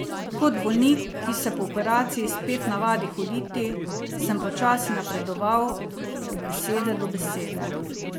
Kot bolnik, ki se po operaciji spet navadi hoditi, sem počasi napredoval od besede do besede.